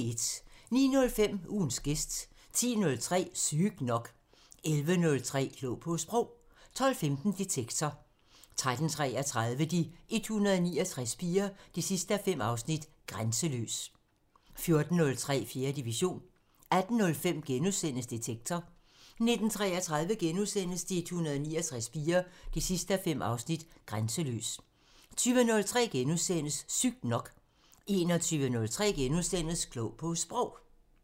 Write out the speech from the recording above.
09:05: Ugens gæst 10:03: Sygt nok 11:03: Klog på Sprog 12:15: Detektor 13:33: De 169 piger 5:5 – Grænseløs 14:03: 4. division 18:05: Detektor * 19:33: De 169 piger 5:5 – Grænseløs * 20:03: Sygt nok * 21:03: Klog på Sprog *